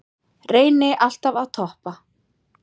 Reyni alltaf að toppa